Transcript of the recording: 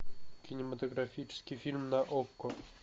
кинематографический фильм на окко